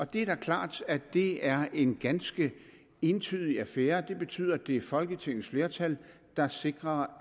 det er da klart at det er en ganske entydig affære det betyder at det er folketingets flertal der sikrer